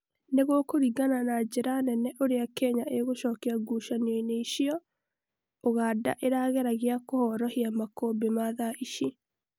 nigũkũringana na njĩra nene ũria kenya ĩgucokia ngucanio-nĩ icio, uganda ĩrageragia kũhorohia makaumbi ma thaa ici